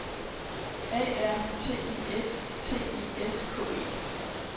A R T I S T I S K E